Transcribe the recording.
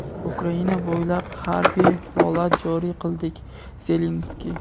Ukraina bo‘ylab harbiy holat joriy qildik – Zelinskiy.